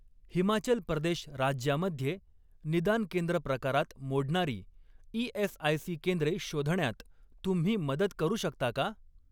हिमाचल प्रदेश राज्यामध्ये निदान केंद्र प्रकारात मोडणारी ई.एस.आय.सी. केंद्रे शोधण्यात तुम्ही मदत करू शकता का?